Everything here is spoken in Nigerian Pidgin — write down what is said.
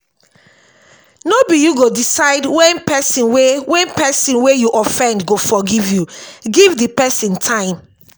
no be you go decide when person wey when person wey you offend go forgive you give di person time